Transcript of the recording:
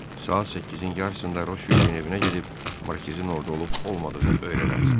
Saat 8-in yarısında Roşvildin evinə gedib Markizin orada olub-olmadığını öyrənərsən.